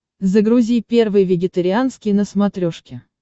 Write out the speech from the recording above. загрузи первый вегетарианский на смотрешке